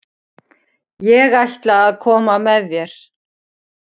Ég ætla að koma með þér!